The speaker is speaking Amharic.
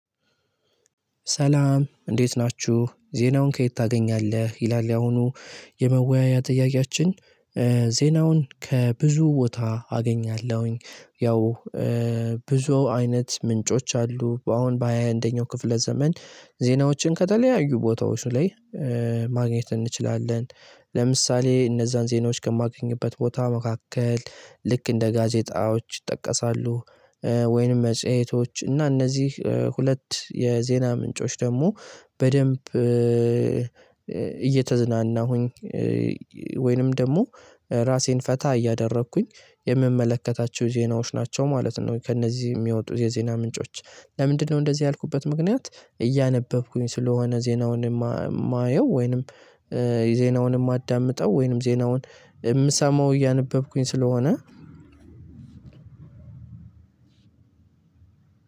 ሰላም እንዴት ናችሁ ዜናውን ከየት ታገኛለህ ይላል ያኣሁኑ የመወያያ ጥያቄያችን? ዜናውን ከብዙ ቦታ አገኛለሁኝ። ያው ብዙ አይነት ምንጮች አሉ አሁን በሃያ አንደኛው ክፍለ ዘመን ዜናዎችን ከተለያዩ ቦታዎች ላይ ማግኘት እንችላለን። ለምሳሌ እነዛን ዜናዎች ከማገኝበት ቦታ መካከል ልክ እንደ ጋዜጣዎች ይጠቀሳሉ። ወይንም መጽሄቶች እና እነዚህ ሁለት የዜና ምንጮች ደግሞ በደንብ እየተዝናና ሁኝ ወይንም ደግሞ ራሴን ፈታ እያደረኩኝ የምመለከታቸው ዜናዎች ናቸው ማለት ነው። ከእነዚህ የሚወጡ የዜና ምንጮች ለምንድነው እንደዚህ ያልኩበት ምክንያት? እያነበብኩኝ ስለሆነ ዜናውን የማየው ወይንም የዜናውንም አዳምጠው ወይንም ዜናውን የምሰማው እያነበብኩኝ ስለሆነ